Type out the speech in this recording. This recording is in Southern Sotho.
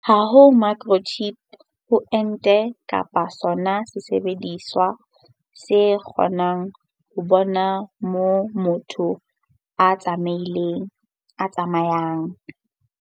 Ha ho microchip ho ente kapa sona sesebediswa se kgonang ho bona moo motho a tsamayang.